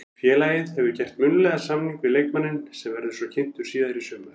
Félagið hefur gert munnlegan samning við leikmanninn sem verður svo kynntur síðar í sumar.